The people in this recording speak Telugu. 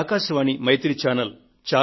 అది ఆకాశవాణి మైత్రి ఛానెల్